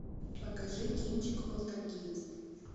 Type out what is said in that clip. покажи кинчик полтергейст